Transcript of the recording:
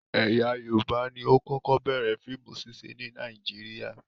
Ẹ̀yà Yorùbá ni ó kọ́kọ́ bẹ̀rẹ̀ fíìmù ṣíṣe ní Nàíjíríà.